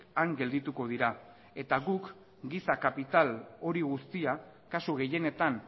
han geldituko dira eta guk giza kapital hori guztia kasu gehienetan